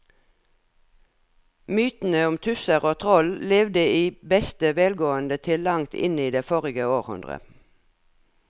Mytene om tusser og troll levde i beste velgående til langt inn i forrige århundre.